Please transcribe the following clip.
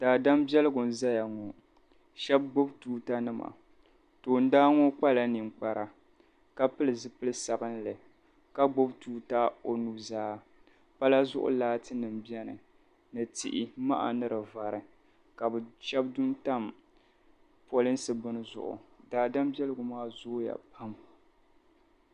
daadam biɛligu n-zaya ŋɔ shɛba gbubi tuutanima toondana ŋɔ kpala ninkpara ka pili zipil' sabilinli ka gbubi tuuta o nuzaa pala zuɣu laatinima beni ni tihi maha ni di vari ka bɛ shɛba du n-tam polinsi bini zuɣu daadam biɛligu maa zooya pam